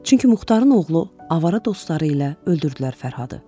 Çünki Muxtarın oğlu avara dostları ilə öldürdülər Fərhadı.